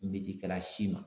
Meciyekɛka si ma